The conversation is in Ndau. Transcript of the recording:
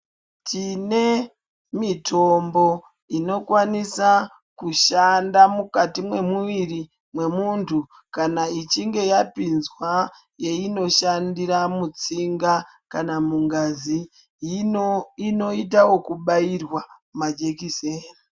Tine mitombo inokwanisa kushanda mukati mwemuviri mwemuntu kana ichinga yapinzwa yeinoshandira mutsinga kana mungazi. Inoita wokubairwa majekiseni.